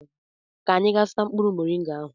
ka anyị gaa zụta mkpụrụ moringa ahụ echi.